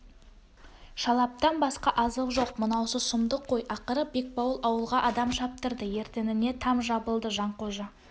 шалаптан басқа азық жоқ мынаусы сұмдық қой ақыры бекбауыл ауылға адам шаптырды ертеңіне там жабылды жанқожа